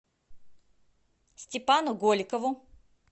степану голикову